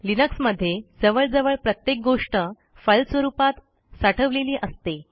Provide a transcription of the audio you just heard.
Linux मध्ये जवळजवळ प्रत्येक गोष्ट फाईल स्वरूपात साठवलेली असते